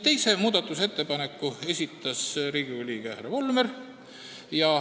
Ühe muudatusettepaneku esitas Riigikogu liige härra Volmer.